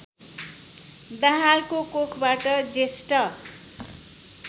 दाहालको कोखबाट जेष्ठ